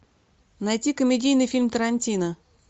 найти комедийный фильм тарантино